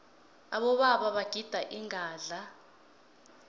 abobaba bagida ingadla